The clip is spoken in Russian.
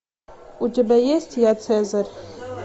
у тебя есть я цезарь